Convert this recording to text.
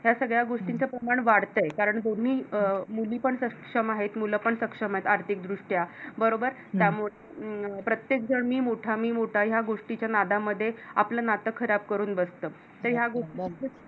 ह्या सगळ्या गोष्टींच प्रमाण वाढत कारण दोन्ही अं मुली पण सक्षम आहेत मुलंपण सक्षम आहेत आर्थिक दृष्ट्या बरोबर त्यामुळे प्रत्येक जन मी मोठा मी मोठा य़ा गोष्टीच्या नादामध्ये आपल नात खराब करून बसत तर या गोष्टी